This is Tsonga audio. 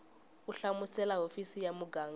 u hlamusela hofisi ya muganga